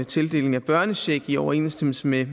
tildeling af børnecheck i overensstemmelse med